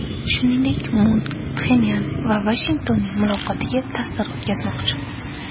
Shuningdek, Mun Pxenyan va Vashingtonning muloqotiga ta’sir o‘tkazmoqchi.